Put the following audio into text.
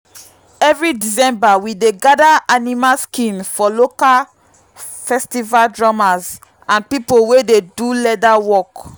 every december we dey gather animal skin for local festival drummers and people wey dey do leather work.